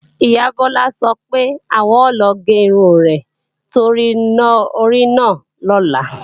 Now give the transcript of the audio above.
Ìyá Bọ́lá sọ pé, àwọn o lọ gé irun rẹ̀ torí iná orí náà lọ́la